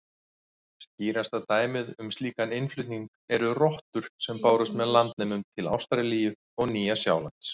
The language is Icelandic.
Skýrasta dæmið um slíkan innflutning eru rottur sem bárust með landnemum til Ástralíu og Nýja-Sjálands.